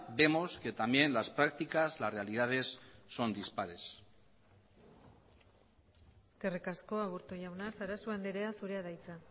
vemos que también las prácticas las realidades son dispares eskerrik asko aburto jauna sarasua andrea zurea da hitza